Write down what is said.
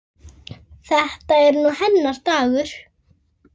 Þetta er nú hennar dagur.